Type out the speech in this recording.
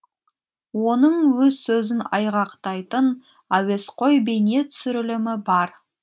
оның өз сөзін айғақтайтын әуесқой бейнетүсірілімі бар